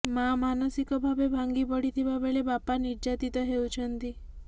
ମା ମାନସିକ ଭାବେ ଭାଙ୍ଗି ପଡ଼ିଥିବା ବେଳେ ବାପା ନିର୍ଯାତିତ ହେଉଛନ୍ତି